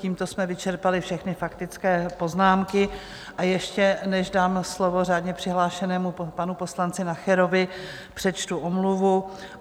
Tímto jsme vyčerpali všechny faktické poznámky, a ještě než dám slovo řádně přihlášenému panu poslanci Nacherovi, přečtu omluvu.